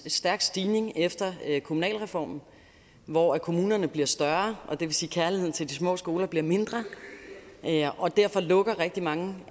en stærk stigning efter kommunalreformen hvor kommunerne bliver større og det vil sige at kærligheden til de små skoler bliver mindre og derfor lukker rigtig mange